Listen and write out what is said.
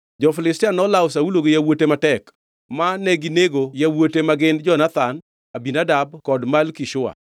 Jo-Filistia nolawo Saulo gi yawuote matek, ma neginego yawuote magin Jonathan, Abinadab kod Malki-Shua.